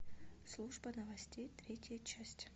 служба новостей третья часть